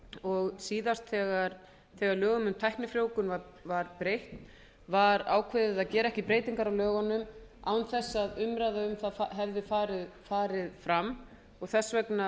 og síðast þegar lögum um tæknifrjóvgun var breytt var ákveðið að gera ekki breytingar á lögunum án þess að umræða hefði farið fram og þess vegna